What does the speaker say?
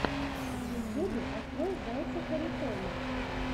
в ютюбе открой зайца харитона